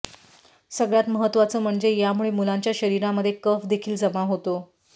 सगळ्यात महत्त्वाचं म्हणजे यामुळे मुलांच्या शरीरामध्ये कफ देखील जमा होतो